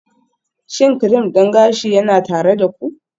Shin cream din gashi yana tare da ku?